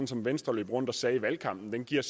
som venstre løb rundt og sagde i valgkampen den giver